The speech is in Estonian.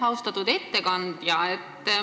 Austatud ettekandja!